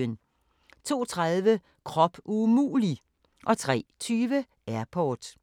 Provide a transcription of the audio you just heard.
02:30: Krop umulig! 03:20: Airport